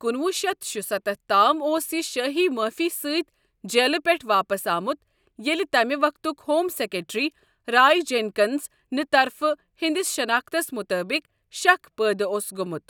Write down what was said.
کُنوُہ شیتھ شُستتھ تام اوس یہِ شٲہی معٲفی سۭتۍ جیلہٕ پٮ۪ٹھٕ واپس آمُت ییٚلہِ تَمہِ وقتُک ہوم سیکرٹری رائے جینکنز نہِ طرفہٕ ہِہنٛدِس شناختَس مُطٲبِق شک پٲدٕ اوس گوٚومُت۔